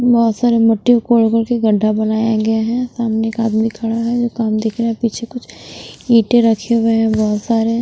बहोत सारे मट्टी को कोर-कोर के गड्ढा बनाया गया है सामने एक आदमी खड़ा है जो काम देख रहा है पीछे कुछ ईंटे रखे हुए हैं बहोत सारे।